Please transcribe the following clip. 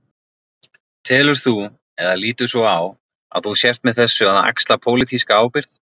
Telur þú, eða lítur svo á að þú sért með þessu að axla pólitíska ábyrgð?